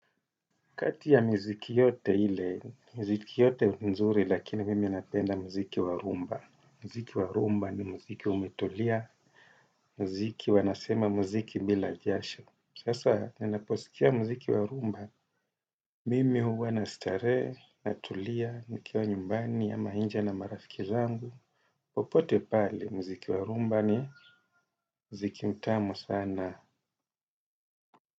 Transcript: Kati ya miziki yote ile, miziki yote nzuri lakini mimi napenda mziki wa rhumba. Mziki wa rhumba ni mziki umetulia, mziki wanasema mziki bila jasho. Sasa, ninaposikia mziki wa rhumba, mimi huwa na starehe, natulia, nikiwa nyumbani ama inje na marafiki zangu. Popote pale, mziki wa rhumba ni mziki mtamu sana.